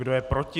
Kdo je proti?